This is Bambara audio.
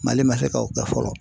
Mali man se ka o kɛ fɔlɔ.